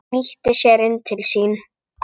Flýtti sér inn til sín.